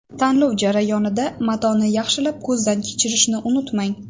Tanlov jarayonida matoni yaxshilab ko‘zdan kechirishni unutmang.